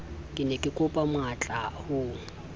ke ne kekopa matlaa ho